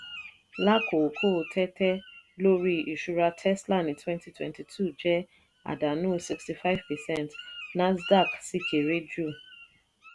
lákòókò tẹ́tẹ́ lórí ìṣura tesla ní twenty twenty two 2022 jẹ́ àdánù sixty five percent nasdaq sì kéré jù.